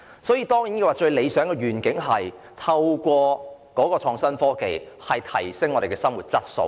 所以，最理想的願景，是透過創新科技提升生活質素。